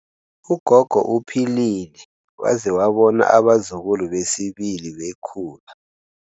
Ugogo uphilile waze wabona abazukulu besibili bekhula.